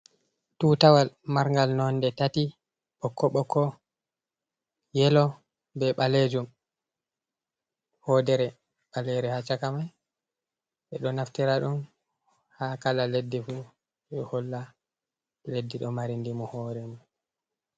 Tutawal margal nonde tati ɓokko ɓokko, yelo, be ɓalejum hodere balere ha chaka mai ɓe ɗo naftira ɗum ha kala leddi fu je holla leddi ɗo mari ndimo hore man.